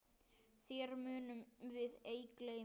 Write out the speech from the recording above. Þér munum við ei gleyma.